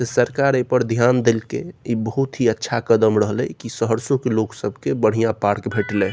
सरकार ऐ पर ध्यान देलकै ई बहुत ही अच्छा कदम रहलई की सहरसो के लोग सब के बढ़िया पार्क भेटलए।